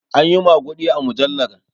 Anyi maguɗi a mujallar